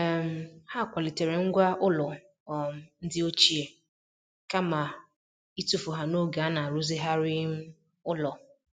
um Ha kwalitere ngwá ụlọ um ndị ochie kama ịtụfu ha n'oge a na-arụzigharị um ụlọ.